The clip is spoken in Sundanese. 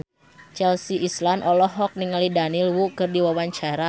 Chelsea Islan olohok ningali Daniel Wu keur diwawancara